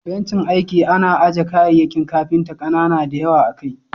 Bencin aiki ana aje kayayyakin kafinta kanana da yawa akai.